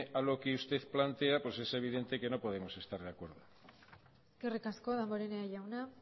a lo que usted plantea pues es evidente que no podemos estar de acuerdo eskerrik asko damborenea jauna